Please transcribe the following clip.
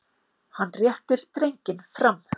Hann réttir drenginn fram.